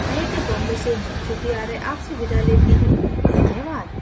यह स्क्रिप्ट विकास द्वारा अनुवादित है मैं जया आपसे विदा लेती हूँ धन्यवाद